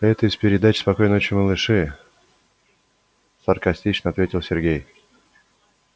это из передачи спокойной ночи малыши саркастично ответил сергей